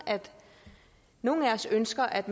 nogen af os ønsker at